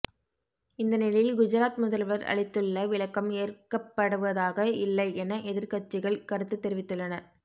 இந்த நிலையில் குஜராத் முதல்வர் அளித்துள்ள விளக்கம் ஏற்கப்படுவதாக இல்லை என எதிர்க்கட்சிகள் கருத்து தெரிவித்துள்ளன